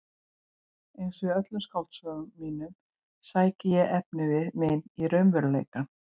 Einsog í öllum skáldsögum mínum sæki ég efnivið minn í raunveruleikann.